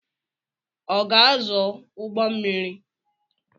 Ọ ga-azụ ụgbọ mmiri?